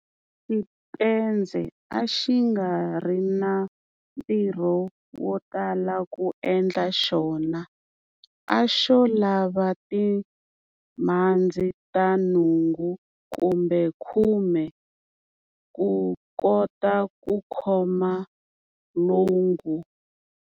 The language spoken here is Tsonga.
Xitendze a xi nga ri na ntirho wo tala ku endla xona, a xo lava timhandzi ta nhungu kumbe khume to kota ku khoma lwangu.